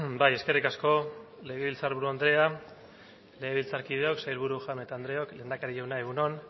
bai eskerrik asko legebiltzarburu andrea legebiltzarkideok sailburu jaun eta andreok lehendakari jauna egun on